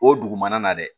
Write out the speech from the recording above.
O dugumana na dɛ